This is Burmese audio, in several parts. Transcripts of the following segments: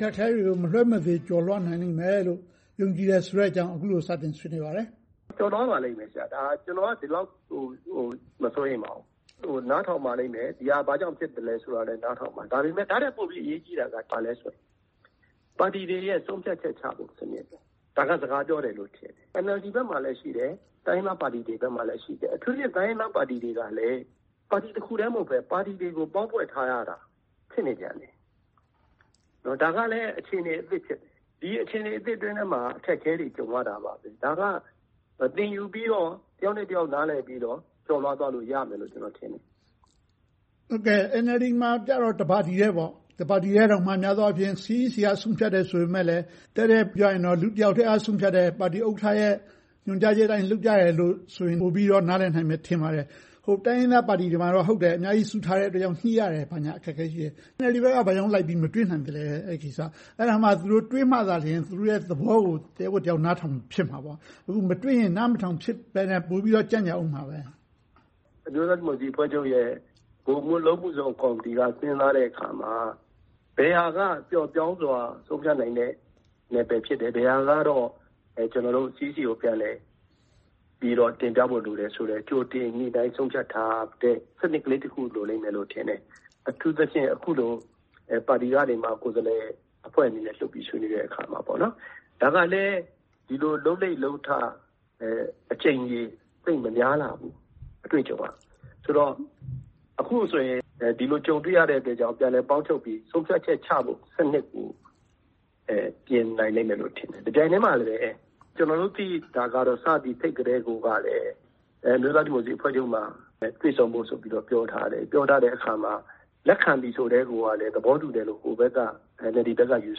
ခက်အခဲတွေကို မလွှဲမသွေ ကျော်လွှာနိုင်လိမ့်မယ်လို့ ယုံကြည်တယ်ဆိုတဲ့အကြောင်း အခုလို စတင်ဆွေးနွေးပါတယ်။ ကျော်လွှာနိုင်ပါလိမ့်မယ်။ ကျနော်က ဒီလောက် မစိုးရိမ်ပါဘူး။ နားထောင်ပါလိမ့်မယ်။ ဒီဟာ ဘာကြောင့်ဖြစ်တယ်ဆိုတာကို နားထောင်ပါလိမ့်မယ်။ ဒီထက်ပိုပြီး အရေးကြီးတာက ဘာလဲဆိုတော့ ပါတီတွေရဲ့ ဆုံးဖြတ်ချက်ချတဲ့ စနစ်။ ဒါက စကားပြောတယ် ထင်တယ်။ NLD ဘက်မှာလည်း ရှိတယ်။ တိုင်းရင်းသားပါတီတွေဘက်မှာလည်း ရှိတယ်။ အထူးသဖြင့် တိုင်းရင်းသားပါတီတွေကလဲ ပါတီတစ်ခုတည်း မဟုတ်ဘဲ၊ ပါတီတွေကို ပေါင်းဖွဲ့ထားရတာ ဖြစ်နေပြန်တယ်။ ဒါကလဲ အခြေအနေအသစ် ဖြစ်နေတယ်။ ဒီအခြေအနေသစ်အတွင်းမှာ အခက်အခဲတွေ ကြုံရတာပါပဲ။ ဒါက သင်ယူပြီးတော့ တစ်ယောက်နဲ့တစ်ယောက် နားလည်ပြီးတော့ ကျော်လွှာသွားလို့ ရမယ်လို့ ကျနော်ထင်တယ်။ NLD ကတော့ တစ်ပါတီထဲပေါ့။ တစ်ပါတီထဲတောင်မှာ များသောအားဖြင့် CEC က ဆုံးဖြတ်တယ်ဆိုပေမယ့်လဲ တည့်တည့်ပြောရရင် လူတစ်ယောက်ထဲက ဆုံးဖြတ်တဲ့ ပါတီဥက္ကဋ္ဌရဲ့ ညွှန်ကြားချက်အတိုင်း လုပ်ကြတယ်လို့ဆိုရင် ပိုပြီးတော့ နားလည်နိုင်မယ် ထင်ပါတယ်။ တိုင်းရင်းသားပါတီတွေမှာတော့ ဟုတ်တယ်။ အများကြီးစုထားတဲ့အတွက် ညှိရတယ်၊ ဘာညာအခက်အခဲ ရှိတယ်။ NLD ဘက်က ဘာကြောင့်လိုက်ပြီး မတွေ့နိုင်သလဲ အဲဒီကိစ္စကို။ အဲဒါမှ သူတို့တွေ့မှသာလျှင် သူတို့ရဲ့သဘောကို တစ်ယောက်ကိုတစ်ယောက် နားထောင်ဖြစ်မှာပေါ့။ အခု မတွေ့တော့ နားမထောင်ဖြစ်ဘဲ၊ ပိုပြီးတော့ ကြန့်ကြာဖြစ်အုံးမယ်။ အမျိုးသားဒီမိုကရေစီအဖွဲ့ချုပ်ရဲ့ ဗဟိုအလုပ်အမှုဆောင်ကော်မတီက စဉ်းစားတဲ့အခါမှာ ဘယ်ဟာက ပျော့ပျောင်းစွာ ဆုံးဖြတ်နိုင်တဲ့ နယ်ပယ်ဖြစ်တယ်။ ဘယ်ဟာကတော့ CEC ကို ပြန်လည်ပြီးတော့ တင်ပြဖို့လိုတယ်ဆိုတဲ့ ကြိုတင်ညှိနှိုင်းဆုံးဖြတ်ထားတဲ့ စနစ်ကလေးတစ်ခု လိုလိမ့်မယ်လို့ ထင်တယ်။ အထူးသဖြင့် အခုလို ပါတီကနေ ကိုယ်စားလှယ်အဖွဲ့အနေနဲ့ လွှတ်ပြီးဆွေးနွေးတဲ့အခါမှာ။ ဒါကလဲ ဒီလိုလုပ်လေ့လုပ်ထ အကြိမ်ရေ သိပ်မများလှဘူး။ အတွေ့အကြုံ သိပ်မရှိလှဘူး။ ဆိုတော့ အခုဆိုရင် ဒီလိုကြုံတွေ့ရတဲ့အတွက်ကြောင့် ပြန်လည်ပေါင်းထုပ်ပြီး ဆုံးဖြတ်ချက်ချတဲ့စနစ်ကို ပြင်နိုင်လိမ့်မယ်လို့ ထင်တယ်။ တပြိုင်တည်းမှာပဲ ကျနော်တို့ သိတာကတော့ စပြီးဖိတ်ကတည်းကိုက အမျိုးသားဒီမိုကရေစီအဖွဲ့ချုပ်မှာ တွေ့ဆုံဖို့ဆိုတာကို ပြောထားတယ်။ အဲဒါကို လက်ခံသည်ဆိုကတည်းက သဘောတူတယ်လို့ NLD ဘက်က ယူ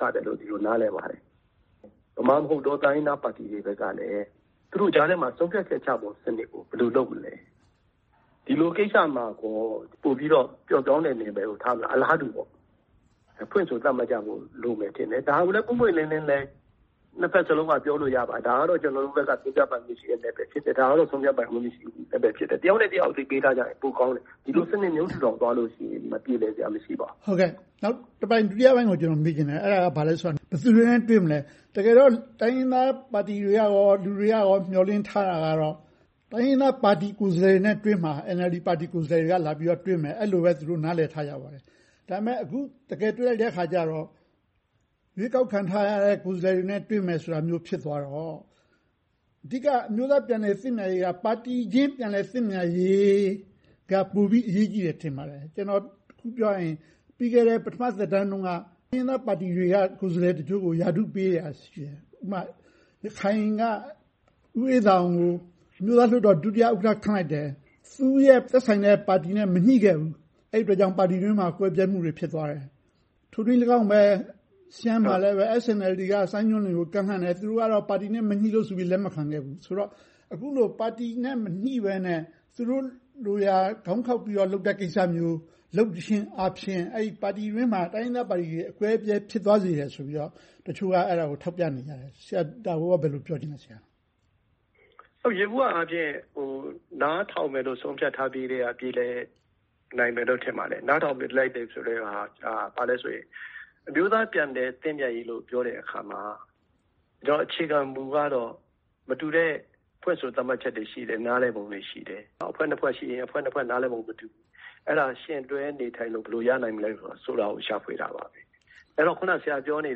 ဆတယ်လို့ ဒီလိုနားလည်ပါတယ်။ ဗမာမဟုတ်သော တိုင်းရင်းသားပါတီတွေဘက်ကလဲ သူတို့ကြားထဲမှာ ဆုံးဖြတ်ချက်ချတဲ့စနစ်ကို ဘယ်လိုလုပ်မလဲ။ ဒီလိုကိစ္စမှာကော ပိုပြီးတော့ ပျော့ပျောင်းတဲ့နယ်ပယ်ကို ထားမလား။ အလားတူ ဖွင့်ဆိုသတ်မှတ်ကြဖို့ လိုမယ်လို့ထင်တယ်။ ဒါကိုလဲ ပွင့်ပွင့်လင်းလင်းလည်း နှစ်ဘက်စလုံးက ပြောဆိုလို့ရပါတယ်။ ဒါကတော့ ကျနော်တို့ဘက်က ဆုံးဖြတ်ပိုင်ခွင့်ရှိတဲ့ နယ်ပယ်ဖြစ်တယ်။ ဒါကတော့ ဆုံးဖြတ်ပိုင်ခွင့်မရှိတဲ့ နယ်ပယ်ဖြစ်တယ်။ တစ်ယောက်နဲ့တစ်ယောက် အသိပေးထားကြရင် ပိုကောင်းတယ်။ ဒီလိုစနစ်မျိုး ထူထောင်သွားကြရင် မပြေလည်စရာအကြောင်း မရှိပါဘူး။ ဒုတိယပိုင်းကို ကျနော် မေးချင်တယ်။ အဲဒါကတော့ ဘာလဲဆိုတော့ ဘယ်သူတွေနဲ့ တွေ့မလဲ။ တကယ်တော့ တိုင်းရင်းသားပါတီတွေကရော လူတွေက မျှော်လင့်ထားတာက တိုင်းရင်းသားပါတီကိုယ်စားလှယ်တွေနဲ့ NLD ကိုယ်စားလှယ်တွေက တွေ့မှာ။ လာပြီးတော့ တွေ့မယ်လို့ အဲဒီလိုပဲ သူတို့က နားလည်ထားကြပါတယ်။ ဒါပေမဲ့ အခု တကယ်တွေ့လိုက်တဲ့အခါကြတော့ ရွေးကောက်ခံထားရတဲ့ ကိုယ်စားလှယ်တွေနဲ့ပဲ တွေ့မယ်ဆိုတာ ဖြစ်သွားတော့ အဓိက အမျိုးသားပြန်လည်သင့်မြတ်ရေးက ပါတီချင်း ပြန်လည်သင့်မြတ်ရေးက ပိုပြီးအရေးကြီးတယ် ထင်ပါတယ်။ တစ်ခုပြောရရင် ပြီးခဲ့တဲ့ အစိုးရသက်တမ်းတုန်းက တိုင်းရင်းသားပါတီတွေက ကိုယ်စားလှယ်တချို့ကို ရာထူးပေးတာ ရှိတယ်။ ဥပမာ ရခိုင်က ဦးအေးသာအောင်ကို အမျိုးသားလွှတ်တော် ဒုဥက္ကဋ္ဌ ခန့်လိုက်တယ်။ သူ့ရဲ့သက်ဆိုင်တဲ့ ပါတီနဲ့ မညှိခဲ့ဘူး။ အဲဒီအတွက်ကြောင့် ပါတီတွင်းမှာ ကွဲပြဲမှုတွေ ဖြစ်သွားတယ်။ ထိုနည်းအတိုင်းပဲ ရှမ်းမှာလည်း SNLD က စိုင်းညွှန့်လွင်ကို ကမ်းလှမ်းတယ်။ သူတို့ကတော့ ပါတီနဲ့ မညှိလို့ဆိုပြီးတော့ လက်မခံခဲ့ဘူး။ ဆိုတော့ အခုလို ပါတီနဲ့ မညှိဘဲနဲ့ သူတို့ လိုရာခေါင်းခေါက်ပြီးတော့ လုပ်တဲ့ကိစ္စမျိုး လုပ်ခြင်းအားဖြင့် တိုင်းရင်းသားပါတီတွေတွင်းမှာ အကွဲအပြဲဖြစ်သွားစေတယ်ဆိုပြီး တချို့က ထောက်ပြနေကြတယ်။ ဆရာအနေနဲ့ ဒါကို ဘယ်လိုပြောချင်ပါလဲ။ ယေဘုယျအားဖြင့် နားထောင်မယ်လို့ ဆုံးဖြတ်ထားတယ်ဆိုရင် ပြေလည်နိုင်မယ်လို့ ထင်ပါတယ်။ နားထောင်တယ်ဆိုကတည်းက ဘာလဲဆိုရင် အမျိုးသားပြန်လည်သင့်မြတ်ရေးလို့ ပြောတဲ့အခါမှာ အခြေခံမူကတော့ မတူတဲ့ ဖွင့်ဆိုသတ်မှတ်ချက်တွေ ရှိတယ်။ နားလည်ပုံတွေ ရှိတယ်။ အဖွဲ့နှစ်ဖွဲ့ရှိရင် အဖွဲ့နှစ်ဖွဲ့ နားလည်ပုံချင်း မတူဘူး။ အဲဒါကို ဘယ်လိုယှဉ်တွဲနေထိုင်လို့ ရနိုင်မလဲဆိုတာကို ရှာဖွေတာပါပဲ။ အခုန ဆရာပြောနေ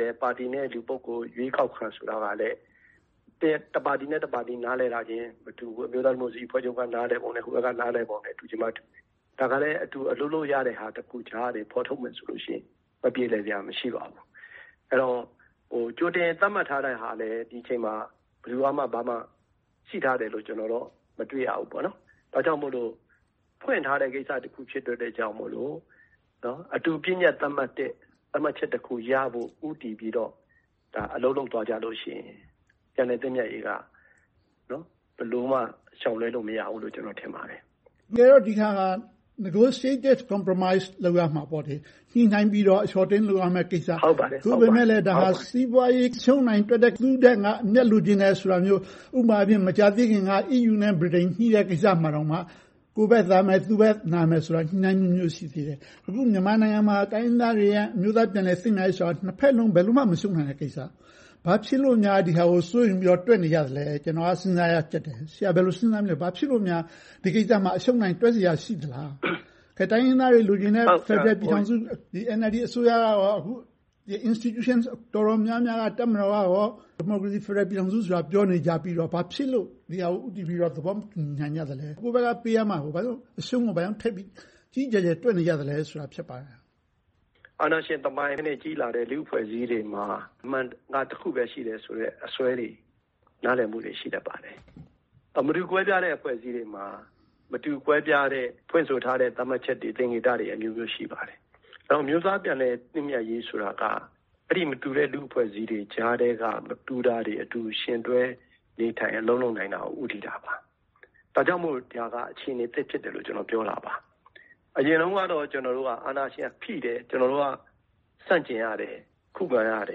တဲ့ ပါတီနဲ့ လူပုဂ္ဂိုလ် ရွေးကောက်ခံဆိုတာကလဲ တစ်ပါတီနဲ့ တစ်ပါတီ နားလည်တာခြင်း မတူပါဘူး။ အမျိုးသားဒီမိုကရေစီအဖွဲ့ချုပ်က နားလည်ပုံနဲ့ ဟိုဘက်က နားလည်ပုံတို့ တူချင်းမှတူမယ်။ ဒါကလဲ အတူအလုပ်လုပ်လို့ရတဲ့ အလုပ်တစ်ခုကြားကနေ ဖော်ထုတ်မယ်ဆိုရင် မပြေလည်စရာ မရှိပါဘူး။ အဲဒီတော့ ကြိုတင်သတ်မှတ်ထားတာလဲ ဒီအချိန်မှာ ဘယ်သူကမှ ဘာမှရှိထားတယ်လို့ မတွေ့ရဘူး။ ဒါကြောင့်မို့လို့ ဖွင့်ထားတဲ့ကိစ္စတစ်ခု ဖြစ်တဲ့အတွက်ကြောင့်မို့ အတူဆုံးဖြတ်သတ်မှတ်တဲ့ သတ်မှတ်ချက်တစ်ခုရဖို့ကို ဦးတည်ပြီးတော့ အလုပ်လုပ်လို့ သွားကြလို့ရှိရင် ပြန်လည်သင့်မြတ်ရေးက ဘယ်လိုမှ ရှောင်လွှဲလို့ မရဘူးလို့ ကျနော် ထင်ပါတယ်။ တကယ်တော့ ဒီဟာက negotiated compromise လုပ်ရမှာပေါ့လေ။ ညှိနှိုင်းပြီးတော့ အလျှော့အတင်း လုပ်ရမယ့်ကိစ္စ။ သို့ပေမဲ့လဲ ဒါဟာက စီးပွားရေး အရှုံးအနိုင်တွက်တဲ့ သူ့ထက် ငါအမြတ်လိုချင်တာမျိုး။ ဥပမာ မကြာသေးခင်က EU-Britain ညှိတဲ့ကိစ္စမှာတောင် ကိုယ့်ဘက်သာမယ်၊ သူ့ဘက်နာမယ် ညှိနှိုင်းမှုမျိုး ရှိသေးတယ်။ အခုမြန်မာနိုင်ငံမှာ တိုင်းရင်းသားတွေနဲ့ အမျိုးသားပြန်လည်သင့်မြတ်ရေးဆိုတာ နှစ်ဘက်စလုံး ဘယ်လိုမှ မရှုံးနိုင်တဲ့ကိစ္စ။ ဘာဖြစ်လို့များ ဒီဟာကို စိုးရိမ်ပြီးတော့ တွက်နေကြသလဲ။ ကျနော်တော့ စဉ်းစားရကျပ်တယ်။ ဆရာ ဘယ်လို စဉ်းစားမိလဲ။ ဘာဖြစ်လို့များ ဒီကိစ္စမှာ အရှုံး-အနိုင် တွက်စရာ ရှိသလား။ တိုင်းရင်းသားတွေ လိုချင်တဲ့ ဖယ်ဒရယ်ပြည်ထောင်စုကို NLD အစိုးရက အခု institution တော်တော်များများက အခု တပ်မတော်ကလည်း ဒီမိုကရေစီဖယ်ဒရယ် ပြည်ထောင်စုဆိုတာ ပြောနေကြပြီးတော့ ဘာဖြစ်လို့ ဒီဟာကို ဦးတည်ပြီးတော့ သဘောမတူညီနိုင်ကြသလဲ။ ကိုယ့်ဘက်က ပေးရမှာကို ဘာကြောင့် အရှုံးကို ကြီးကြီးကျယ်ကျယ် တွက်နေကြသလဲဆိုတာ ဖြစ်ပါတယ်။ အာဏာရှင်သမိုင်းနဲ့ ကြီးလာတဲ့ လူ့အဖွဲ့အစည်းတွေမှာ အမှန်က တစ်ခုပဲ ရှိတယ်ဆိုတဲ့ အစွဲတွေ၊ နားလည်မှုတွေ ရှိတတ်ပါတယ်။ မတူကွဲပြားတဲ့ အဖွဲ့အစည်းတွေမှာ မတူကွဲပြားတဲ့ ဖွင့်ဆိုထားတဲ့ သတ်မှတ်ချက်တွေ၊ သင်္ကေတတွေ အမျိုးမျိုး ရှိပါတယ်။ နောက် အမျိုးသားပြန်လည်သင့်မြတ်ရေးဆိုတာက အဲဒီမတူတဲ့ လူ့အဖွဲ့အစည်းတွေကြားထဲက မတူတာတွေ အတူယှဉ်တွဲနေထိုင် အလုပ်လုပ်နိုင်တာကို ဦးတည်တာပါ။ ဒါကြောင့်မို့ ဒါက အခြေအနေအသစ် ဖြစ်တယ်လို့ ကျနော်က ပြောတာပါ။ အရင်တုန်းကတော့ ကျနော်တို့က အာဏာရှင်ဖိတယ်၊ ကျနော်တို့က ဆန့်ကျင်ရတယ်။ ခုခံရတ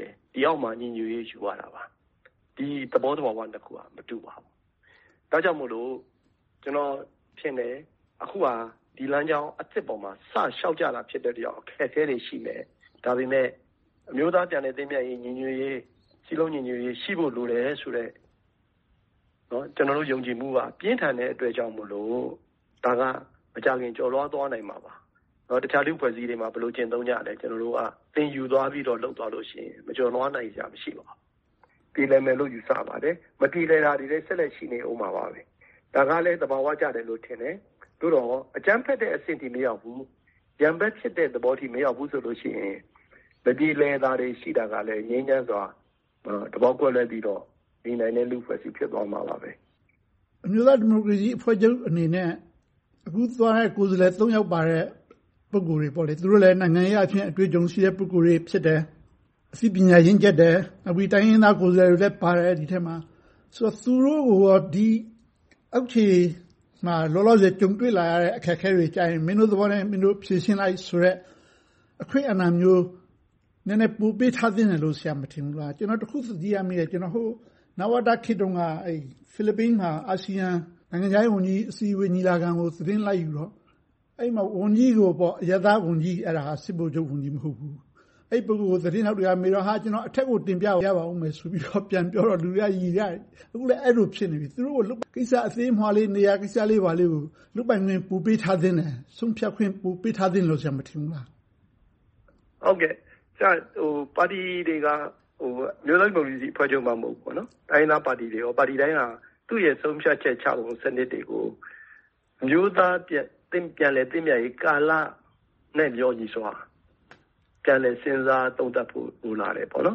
ယ်။ ဒီအောက်မှာ ညီညွှတ်ရေးကို ယူရတာပါ။ ဒီသဘောသဘာဝနှစ်ခုက မတူပါဘူး။ ဒါကြောင့်မို့ ကျနော်ထင်တယ် အခုဟာ ဒီလမ်းကြောင်းအသစ်ပေါ်မှာ စတင်လျှောက်ကြတာ ဖြစ်တာမို့ အခက်အခဲတွေ ရှိမယ်။ ဒါပေမဲ့ အမျိုးသားပြန်လည်သင့်မြတ်ရေး၊ ညီညွှတ်ရေး၊ စည်းလုံးညီညွှတ်ရေး ရှိဖို့လိုတယ်ဆိုတဲ့ ကျနော်တို့ ယုံကြည်မှုက ပြင်းထန်တဲ့အတွက်ကြောင့်မို့ ဒါကို မကြာခင် ကျော်လွှာသွားနိုင်မှာပါ။ အခြားလူ့အဖွဲ့အစည်းတွေမှာ ဘယ်လိုကျင့်သုံးကြလဲ။ ကျနော်တို့က သင်ယူပြီးတော့ လုပ်သွားလို့ရှိရင် မကျော်လွှာနိုင်စရာ မရှိပါဘူး။ ပြေလည်နိုင်မယ်လို့ ယူဆပါတယ်။ မပြေလည်နိုင်စရာတွေလည်း ဆက်လက်ရှိနေအုံးမှာပါ။ ဒါကလဲ သဘာဝကျတယ်လို့ ထင်ပါတယ်။ သို့သော် အကြမ်းဖက်တဲ့အဆင့်ထိ မရောက်ဘူး။ ရန်ဘက်ဖြစ်တဲ့ အဆင့်အထိ မရောက်ဘူးဆိုရင် မပြေလည်တာတွေ ရှိတာကလဲ ငြိမ်းချမ်းစွာ သဘောထားကွဲလွဲပြီးတော့ နေနိုင်တဲ့ လူ့အဖွဲ့အစည်း ဖြစ်သွားမှာပါ။ အမျိုးသားဒီမိုကရေစီအဖွဲ့ချုပ်အနေနဲ့ အခုသွားတဲ့ ကိုယ်စားလှယ် ယောက်ပါတဲ့ ပုဂ္ဂိုလ်တွေက နိုင်ငံရေးအရလည်း အတွေ့အကြုံရှိတဲ့ ပုဂ္ဂိုလ်တွေ ဖြစ်တယ်။ အသိပညာရင့်ကျက်တယ်။ နောက်ပြီးတော့ တိုင်းရင်းသားကိုယ်စားလှယ်တွေလည်း ဒီအဖွဲ့ထဲမှာ ပါတယ်။ ဆိုတော့ သူုတို့ကိုရော အောက်ခြေမှာ လောလောဆယ် ကြုံတွေ့လာရတဲ့ အခက်အခဲတွေကို မင်းတို့သဘောနဲ့ မင်းတို့ ဖြေရှင်းလိုက်ဆိုတဲ့ အခွင့်အာဏာမျိုး နည်းနည်းပိုပေးထားသင့်တယ်လို့ ဆရာ မထင်ဘူးလား။ ကျနော် တစ်ခု သတိရမိတယ်။ နဝတခေတ်တုန်းက ဖိလစ်ပိုင်မှာ အာဆီယံ နိုင်ငံခြားရေးအစည်းအဝေး ညီလာခံကို သတင်းလိုက်ယူတော့။ အဲဒီမှာ အရပ်သားဝန်ကြီး - စစ်ဗိုလ်ချုပ်ဝန်ကြီး မဟုတ်ဘူး၊ အဲဒီ ပုဂ္ဂိုလ်ကို သတင်းထောက်တွေကမေးတော့ ကျနော့်အနေနဲ့ အထက်ကို တင်ပြရပါအုံးမယ်ဆိုပြီးတော့ ပြန်ပြောတော့ လူတွေက ရယ်မောကြတယ်။ အခုလဲ အဲဒီလို ဖြစ်နေတယ်။ သူတို့ကို လုပ်ရမယ့် နေရာ အသေးအမွှားလေးကိစ္စလေးကို လုပ်ပိုင်ခွင့် ပိုပေးထားသင့်တယ်။ ဆုံးဖြတ်ခွင့် ပိုပေးထားသင့်တယ်လို့ ဆရာ မထင်ဘူးလား။ ပါတီတွေက အမျိုးသားဒီမိုကရေစီအဖွဲ့ချုပ်မှ မဟုတ်ဘူး၊ တိုင်းရင်းသားပါတီတွေအပါအဝင် ပါတီတိုင်းက သူ့ရဲ့ဆုံးဖြတ်ချက်ချပုံ စနစ်တွေကို အမျိုးသားပြန်လည်သင့်မြတ်ရေးကာလနဲ့ လျော်ညီစွာ ပြန်လည်စဉ်းစားသုံးသပ်ဖို့ လိုလာတယ်။ အဲဒီ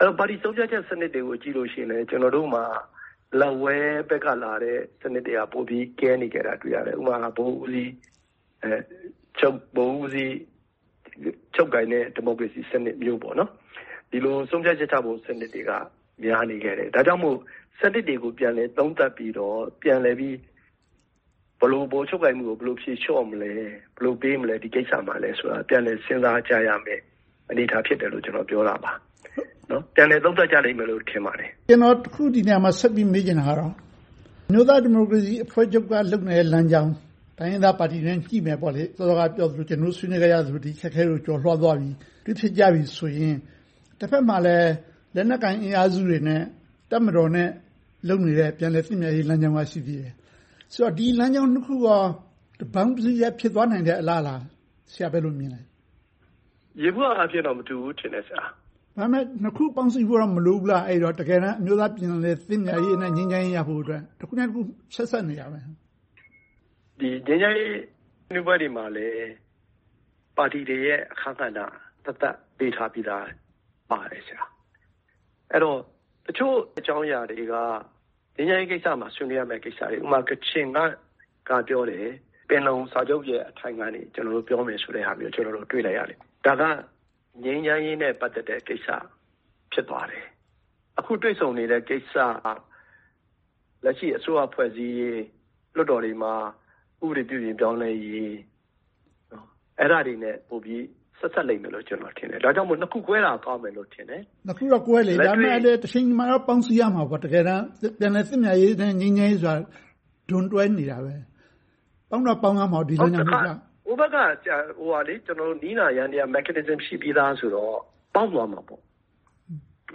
တော့ ပါတီဆုံးဖြတ်ချက် စနစ်တွေကို ကြည့်မယ်ဆိုရင် ကျနော်တို့မှာ လက်ဝဲဘက်က လာတဲ့စနစ်တွေက ပိုပြီးတော့ ကဲနေခဲ့တာကို တွေ့ရတယ်။ ဥပမာ ဗဟိုဦးစီးချုပ်ကိုင်တဲ့ ဒီမိုကရေစီစနစ်မျိုး။ ဒီလိုဆုံးဖြတ်ချက်ချတဲ့ စနစ်တွေက များနေခဲ့တယ်။ ဒါကြောင့်မို့ စနစ်တွေကို ပြန်လည်သုံးသပ်ပြီးတော့ ပြန်လည်ပြီး ဘယ်လို ဗဟိုချုပ်ကိုင်မှုကို ဖြေလျှော့မလဲ။ ဘယ်လို ပေးမလဲ။ ဒီကိစ္စမှာ ဘယ်လိုလုပ်မလဲဆိုတာကို ပြန်လည်စဉ်းစားကြရမယ့် အနေအထား ဖြစ်တယ်လို့ ကျနော် ပြောတာပါ။ ပြန်လည်သုံးသပ်ကြမယ်လို့ ထင်ပါတယ်။ ကျနော် ဒီနေရာမှာ ဆက်ပြီးတော့ မေးချင်တာကတော့ အမျိုးသားဒီမိုကရေစီအဖွဲ့ချုပ်က လုပ်နေတဲ့ လမ်းကြောင်း။ တိုင်းရင်းသားပါတီတွေနဲ့ ညှိနှိုင်းမယ်ပေါ့။ စောစောကပြောတဲ့ ကျနော်တို့ ဆွေးနွေးခဲ့ကြသလို၊ ဒီအခက်အခဲတွေကို ကျော်လွှာသွားပြီး၊ တွေ့ဖြစ်ကြတယ်ဆိုရင် တဘက်မှာလဲ လက်နက်ကိုင်အင်အားစုတွေနဲ့ တပ်မတော်နဲ့ လုပ်နေတဲ့ ပြန်လည်သင့်မြတ်ရေးလမ်းကြောင်းက ရှိနေသေးတယ်။ ဆိုတော့ ဒီလမ်းကြောင်းနှစ်ခုကော တပေါင်းတစုတည်း ဖြစ်သွားနိုင်တဲ့ အလားအလာကို ဆရာ ဘယ်လိုမြင်သလဲ။ ယေဘုယျအားဖြင့်တော့ မတူဘူးထင်တယ် ဆရာ။ ဒါပေမဲ့ နှစ်ခုပေါင်းစည်းမှု မလိုဘူးလား။ တကယ်တမ်း အမျိုးသားပြန်လည်သင့်မြတ်ရေးနဲ့ ငြိမ်းချမ်းရေးရဖို့အတွက် တစ်ခုနဲ့တစ်ခု ဆက်စပ်နေတယ် မဟုတ်လား။ ငြိမ်းချမ်းရေး ဆွေးနွေးပွဲတွေမှာလဲ။ ပါတီတွေရဲ့ အခန်းကဏ္ဍသက်သက် ပေးထားပြီးသာပါတယ်။ အဲဒီတော့ တချို့အကြောင်းအရာတွေက ငြိမ်းချမ်းရေးကိစ္စမှာ ဆွေးနွေးရမယ့် ကိစ္စတွေ။ ဥပမာ ကချင်က ပြောတယ် - ပင်လုံစာချုပ်ရဲ့ အကြောင်းအရာတွေကို ပြောမယ်ဆိုတာမျိုးကို ကျနော်တို့ တွေ့လိုက်ရတယ်။ ဒါက ငြိမ်းချမ်းရေးနဲ့ ပတ်သက်တဲ့ကိစ္စ ဖြစ်သွားတယ်။ အခုတွေ့ဆုံနေတဲ့ ကိစ္စက လက်ရှိအစိုးရ ဖွဲ့စည်းရေး၊ လွှတ်တော်တွေမှာ ဥပဒေ ပြုပြင်ပြောင်းလဲရေး၊ အဲဒါတွေနဲ့ ပိုပြီးတော့ ဆက်စပ်လိမ့်မယ်လို့ ကျနော်ထင်တယ်။ ဒါကြောင့်မို့ နှစ်ခုကွဲတာတော့ ကောင်းမယ်လို့ ထင်တယ်။ နှစ်ခုကတော့ ကွဲနေပေမယ့် တချိန်ချိန်မှာတော့ ပေါင်စည်းရေး လုပ်ရမှာပေါ့။ တကယ်တမ်း ပြန်လည်သင့်မြတ်ရေးနဲ့ ငြိမ်းချမ်းရေးဆိုတာ ဒွန်တွဲနေတာပဲ။ ပေါင်းတော့ပေါင်းရမှာပေါ့။ ဟိုဘက်က နည်းနာယန္တရား mechanism ရှိပြီသာဆိုတော့ ပေါင်းသွားမှာပေါ့။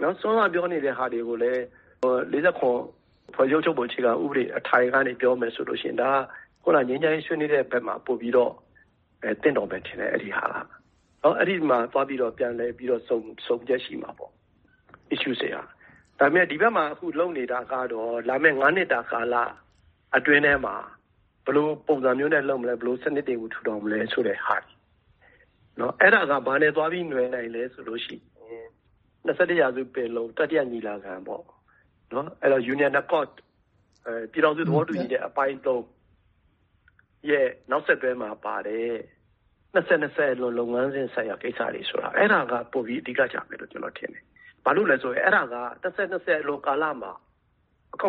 စောစောက ပြောနေတဲ့ဟာတွေကိုလဲ ၄၇ ဖွဲ့စည်းအုပ်ချုပ်ပုံ အခြေခံအထိုင်ကနေ ပြောမယ်ဆိုရင် ဒါက ငြိမ်းချမ်းရေးဆွေးနွေးတဲ့ဘက်မှာ ပိုပြီးတော့ သင့်တော်မယ်ထင်တယ်။ အဲဒီဟာက။ အဲဒီမှာ သွားပြီးတော့ ပြန်လည်ဆုံချက် ရှိမှာပေါ့။ ဒါပေမဲ့ ဒီဘက်မှာ လုပ်နေတာကတော့ လာမယ့် နှစ်တာကာလအတွင်းထဲမှာ ဘယ်လိုပုံစံမျိုးနဲ့ လုပ်မလဲ။ ဘယ်လိုစနစ်တွေကို ထူထောင်မလဲဆိုတဲ့ဟာ။ အဲဒါက ဘာနဲ့သွားပြီးနွယ်နိုင်သလဲဆိုရင် ရာစု ပင်လုံ တတိယညီလာခံ - Union Accord ပြည်ထောင်စု သဘောတူညီချက် အပိုင်း ရဲ့ နောက်ဆက်တွဲမှာပါတဲ့ ၂၀၂၀ အလွန် လုပ်ငန်းစဉ်ဆိုင်ရာ ကိစ္စရပ်တွေက ပိုပြီးတော့ အဓိကကျမယ်လို့ ကျနော် ထင်တယ်။ ဘာဖြစ်လို့လဲဆိုရင် အဲဒါက ၂၀၂၀ အလွန်ကာလမှာ အကောင်